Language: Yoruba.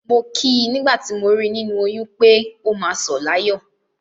Mo kí i nígbà tí mo rí i nínú oyún pé, “ó máa sọ̀ láyọ̀”.